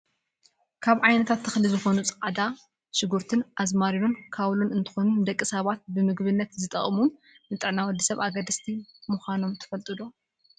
ካብ ዓይነታት ተክሊ ዝኮኑ፣ ፃዕዳ ሽጉርቲን ኣዝማሪኖ፣ ካውሎን እንትኮኑ፣ ንደቂ ሰባት ብምግብነት ዝጠቅሙን ንጥዕና ወዲ ሰብ ኣገደስቲ ምኳኖም ትፈልጡ ዶ ?